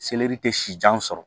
Selɛri tɛ si jan sɔrɔ